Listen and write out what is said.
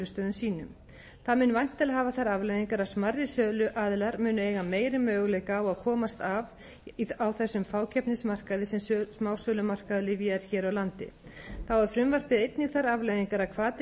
sínum það mun væntanlega hafa þær afleiðingar að smærri söluaðilar munu eiga meiri möguleika á að komast af á þessum fákeppnismarkaði sem smásölumarkaður lyfja er hér á landi þá hefur frumvarpið einnig þær afleiðingar að hvati